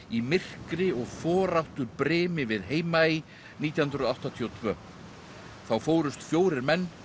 í myrkri og foráttubrimi við Heimaey nítján hundruð áttatíu og tvö þá fórust fjórir menn